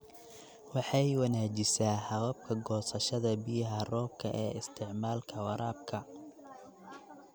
Waxay wanaajisaa hababka goosashada biyaha roobka ee isticmaalka waraabka.